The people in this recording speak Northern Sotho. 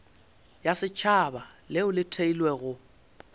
ya setšhaba leo le theilwego